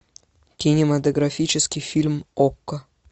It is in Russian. кинематографический фильм окко